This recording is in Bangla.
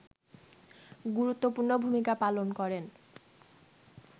গুরুত্বপূর্ণ ভূমিকা পালন করেন